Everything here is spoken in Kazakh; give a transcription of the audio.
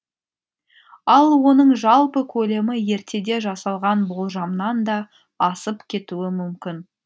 ал оның жалпы көлемі ертеде жасалған болжамнан да асып кетуі мүмкін